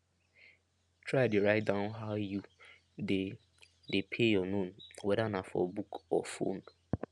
try dey write down how you dey dey pay your loan wether na for book or phone